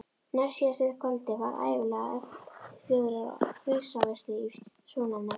Næstsíðasta kvöldið var ævinlega efnt til fjörugrar grísaveislu í svonefndu